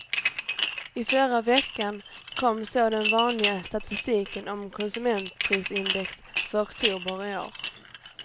I förra veckan kom så den vanliga statistiken om konsumentprisindex för oktober i år.